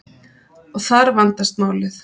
Og þar vandast málið.